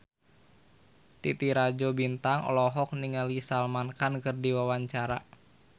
Titi Rajo Bintang olohok ningali Salman Khan keur diwawancara